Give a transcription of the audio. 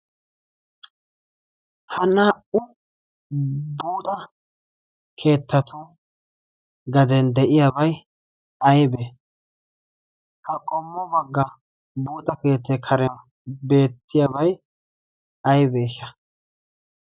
ha naa"u buuda keettatu gaden de'iyaabay aybee? ha qommu bagga buuda keettee karian beettiyaabai aybeesha?